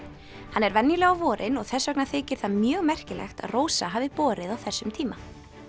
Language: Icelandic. hann er venjulega á vorin og þess vegna þykir það mjög merkilegt að Rósa hafi borið á þessum tíma